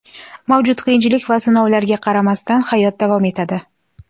Mavjud qiyinchilik va sinovlarga qaramasdan, hayot davom etadi.